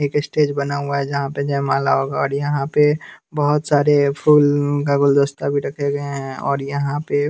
एक स्टेज बना हुआ है जहां पे जयमाला होगा और यहां पे बहोत सारे फूल का गुलदस्ता भी रखे गए हैं और यहां पे--